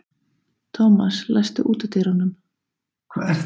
Thomas, læstu útidyrunum.